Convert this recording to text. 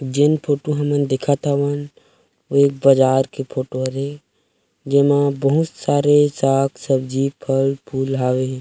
जेन फोटो हमन दिखत हवन ओ एक बाजार के फोटो हेरे जेमा बहुत सारे साग-सब्जी फल-फूल हावे।